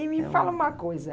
E me fala uma coisa.